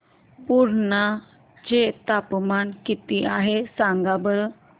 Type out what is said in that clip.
पुर्णा चे तापमान किती आहे सांगा बरं